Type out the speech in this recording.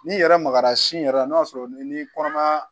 N'i yɛrɛ magara sin yɛrɛ n'a sɔrɔ ni kɔnɔmaya